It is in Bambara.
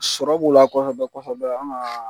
Sɔrɔ b'o la kɔfɛ an ka